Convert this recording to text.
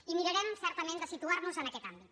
i mirarem certament de situar nos en aquest àmbit